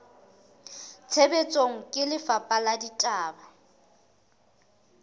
tshebetsong ke lefapha la ditaba